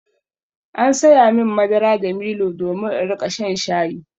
An saya min madara da milo domin in riƙa shan shayi.